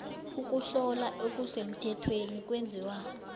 ukuhlola okusemthethweni kwenziwa